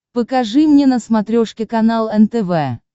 покажи мне на смотрешке канал нтв